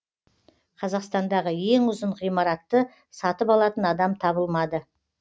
қазақстандағы ең ұзын ғимаратты сатып алатын адам табылмады